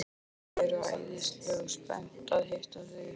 Þau eru æðislega spennt að hitta þig.